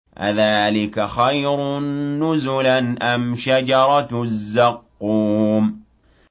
أَذَٰلِكَ خَيْرٌ نُّزُلًا أَمْ شَجَرَةُ الزَّقُّومِ